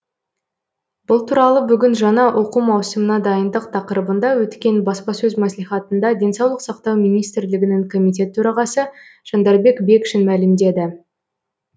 бұл туралы бүгін жаңа оқу маусымына дайындық тақырыбында өткен баспасөз мәслихатында денсаулық сақтау министрлігінің комитет төрағасы жандарбек бекшин мәлімдеді